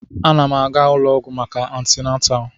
Ana m aga ụlọ ọgwụ maka antịnatal